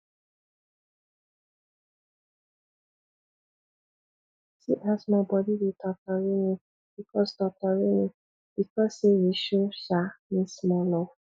see as my bodi dey totori me because totori me because sey you show um me small love